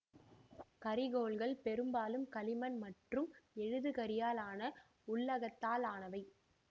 கரிக்கோல்கள் பெரும்பாலும் களிமண் மற்றும் எழுதுகரியால் ஆன உள்ளகத்தால் ஆனவை